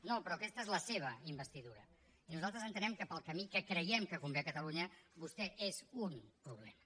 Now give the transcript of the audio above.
no però aquesta és la seva investidura i nosaltres entenem que per al camí que creiem que convé a catalunya vostè és un problema